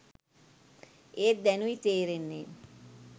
ඒත් දැනුයි තේරෙන්නේ